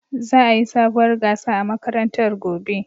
Za'a yi sabuwar gasa a makarantar gobe.